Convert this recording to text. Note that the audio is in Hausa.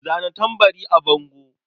Zana tambarin a bango.